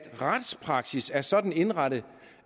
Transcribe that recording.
retspraksis er sådan indrettet